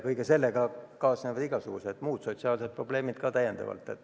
Kõige sellega kaasnevad igasugused muud sotsiaalsed probleemid.